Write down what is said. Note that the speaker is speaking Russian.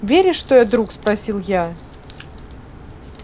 веришь что я друг спросил я